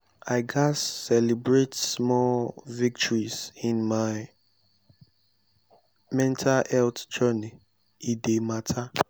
i gats celebrate small victories in my mental health journey; e dey matter.